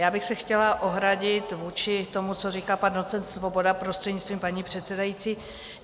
Já bych se chtěla ohradit vůči tomu, co říkal pan docent Svoboda, prostřednictvím paní předsedající.